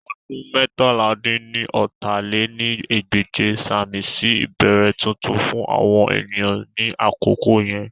Ọdún meétalá-dín-ní-ọ́ta lé ní ẹgbẹ́je sàmì sí ìbẹ̀rẹ̀ tuntun fún àwọn ènìyàn ní àkókò yẹn.